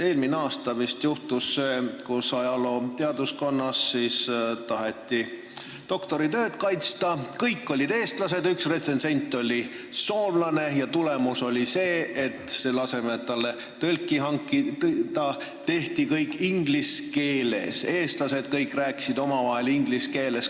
Eelmine aasta vist juhtus see, et ajalooteaduskonnas taheti doktoritööd kaitsta, kõik olid seal eestlased, ainult üks retsensent oli soomlane ja tulemus oli see: selle asemel, et talle tõlk hankida, tehti kõik inglise keeles, kõik eestlased rääkisid omavahel inglise keeles.